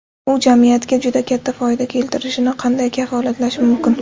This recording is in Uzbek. U jamiyatga juda katta foyda keltirishini qanday kafolatlash mumkin?